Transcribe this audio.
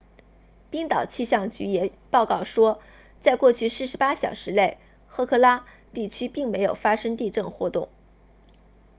冰岛气象局也报告说在过去48小时内赫克拉 hekla 地区并没有发生地震活动